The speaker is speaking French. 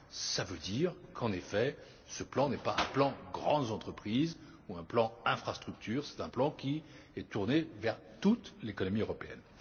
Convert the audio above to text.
Cela veut dire, en effet, que ce plan n'est pas un plan grandes entreprises ou un plan infrastructures, c'est un plan qui est tourné vers toute l'économie européenne.